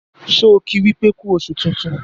ṣe ki wípé ku oṣù tintun?